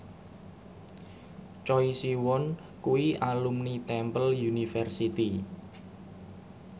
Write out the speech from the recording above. Choi Siwon kuwi alumni Temple University